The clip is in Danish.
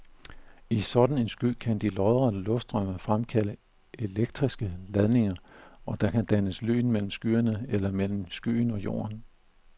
I sådan en sky kan de lodrette luftstrømme fremkalde elektriske ladninger, og der kan dannes lyn mellem skyerne eller mellem skyen og jorden.